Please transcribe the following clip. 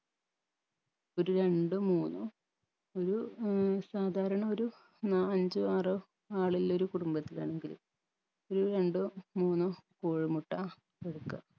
ഒരു രണ്ടോ മൂന്നോ ഒരു ഹും സാധാരണ ഒരു ന അഞ്ചോ ആറോ ആളില്ലൊരു കുടുംബത്തിൽ അല്ലെങ്കിൽ ഒരു രണ്ടോ മൂന്നോ കോഴിമുട്ട എടുക്കുക